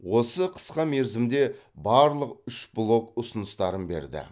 осы қысқа мерзімде барлық үш блок ұсыныстарын берді